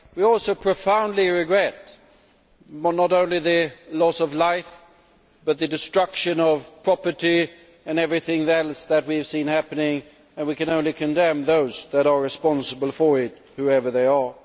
We also profoundly regret not only the loss of life but the destruction of property and everything else that we have seen happening and we can only condemn those that are responsible for it, whoever they are.